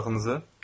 Darağınızı?